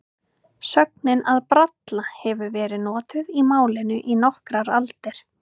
Sögnin að bralla hefur verið notuð í málinu í nokkrar aldir.